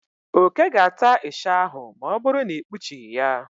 Oke ga-ata ịsha ahụ ma ọ bụrụ na ị kpuchị ya.